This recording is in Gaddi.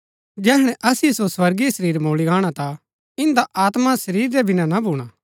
जैहणै असिओ सो स्वर्गीय शरीर मुळी गाणा ता इन्दा आत्मा शरीर रै बिना ना भूणा